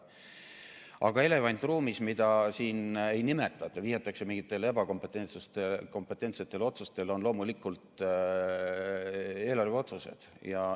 Aga elevant ruumis, mida siin ei nimetata, vaid vihjatakse mingitele ebakompetentsetele otsustele, on loomulikult eelarveotsused.